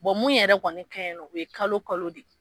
mun yɛrɛ kɔni kaɲi nɔ, o ye kalo kalo de ye.